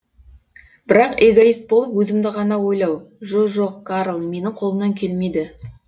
бірақ эгоист болып өзімді ғана ойлау жо жоқ карл менің қолымнан келмейді